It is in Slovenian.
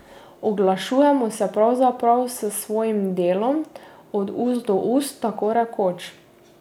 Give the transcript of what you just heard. Oglašujemo se pravzaprav s svojim delom, od ust do ust, tako rekoč.